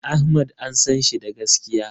Ahmad an sanshi da gaskiya